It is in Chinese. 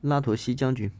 拉图西将军